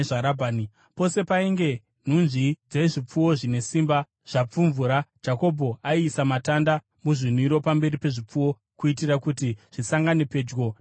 Pose painge nhunzvi dzezvipfuwo zvine simba zvapfumvura, Jakobho aiisa matanda muzvinwiro pamberi pezvipfuwo kuitira kuti zvisangane pedyo namatanda,